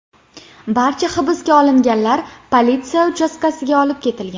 Barcha hibsga olinganlar politsiya uchastkasiga olib ketilgan.